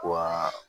Wa